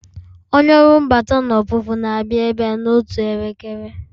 Onye ọrụ mbata na ọpụpụ ga-abịa ebe a n'otu elekere